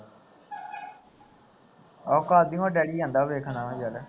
ਆਹੌ ਕਾਦੀਔ ਡੈਡੀ ਜਾਂਦਾ ਵੇਖਣ ਆ ਚੱਲ